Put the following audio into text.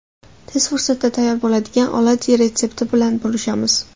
Tez fursatda tayyor bo‘ladigan oladyi retsepti bilan bo‘lishamiz.